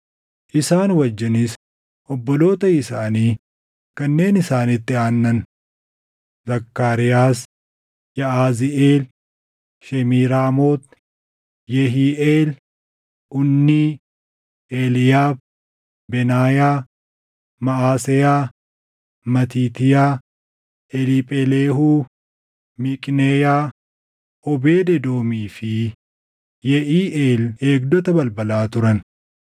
isaan wajjinis obboloota isaanii kanneen isaanitti aannan: Zakkaariyaas, Yaʼaziiʼeel, Shemiiraamoot, Yehiiʼeel, Unnii, Eliiyaab, Benaayaa, Maʼaseyaa, Matiitiyaa, Eliipheleehuu, Miiqneyaa, Oobeed Edoomii fi Yeʼiiʼeel eegdota balbalaa turan.